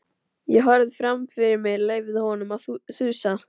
Ég horfði fram fyrir mig, leyfði honum að þusa.